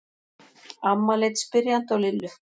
Amma leit spyrjandi á Lillu.